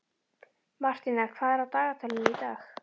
Martína, hvað er á dagatalinu í dag?